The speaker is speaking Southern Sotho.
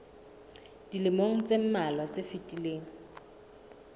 dilemong tse mmalwa tse fetileng